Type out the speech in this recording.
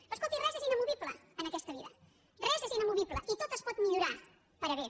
però escolti res és inamovible en aquesta vida res és inamovible i tot es pot millorar per a bé